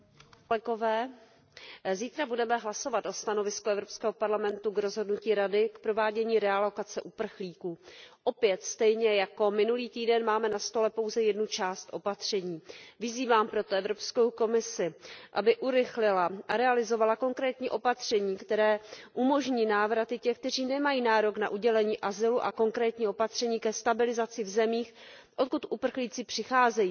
Pane předsedající, zítra budeme hlasovat o stanovisku Evropského parlamentu k rozhodnutí Rady o provádění realokace uprchlíků. Opět, stejně jako minulý týden, máme na stole pouze jednu část opatření. Vyzývám proto Evropskou komisi, aby urychlila a realizovala konkrétní opatření, která umožní návraty těch, kteří nemají nárok na udělení azylu, a konkrétní opatření ke stabilizaci v zemích, odkud uprchlíci přicházejí.